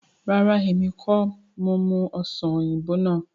Rárá, èmi kọ́ni mo mú Ọ̀sán oyinbo náà.